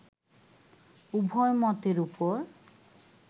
উভয় মতের উপর